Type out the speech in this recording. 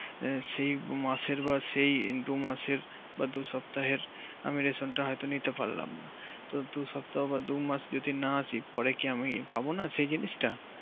সে মাসের পাখ সেই দুই মাসের বা দুই সপ্তাহের আমি রেশনটা হয়তো নিতে পারলাম না তো দুই সপ্তাহ পর দুমাস যদি না আসি পরে কি আমি পাবো না সেই জিনিসটা